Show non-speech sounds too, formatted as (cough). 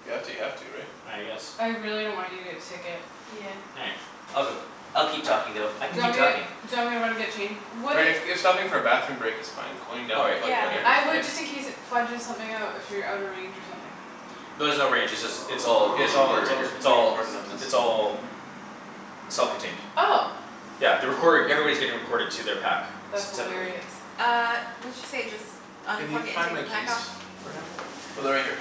If you have to you have to right? I guess I really don't want you to get a ticket. Yeah All right. I'll go. I'll keep talking though. I Do can you want keep me talking. do you want me to run and get change? Would Right it if if stopping for a bathroom break is fine, going All down right to plug Yeah your meter is I (inaudible) K. fine. would just in case it fudges something out if you're out of range or something. No there's no range. It's all Yeah it's getting all recorded it's right all here. just It's being all recorded on this. it's all Self (noise) contained. Oh Yeah the recording everybody's getting recorded to their pack. S- That's separately. hilarious Uh what'd she say just Can you unplug it and find take my the pack keys off? for him? Oh they're right here.